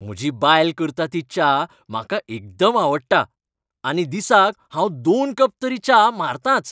म्हजी बायल करता ती च्या म्हाका एकदम आवडटा आनी दिसाक हांव दोन कप तरी च्या मारतांच.